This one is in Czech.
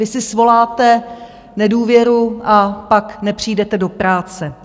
Vy si svoláte nedůvěru, a pak nepřijdete do práce.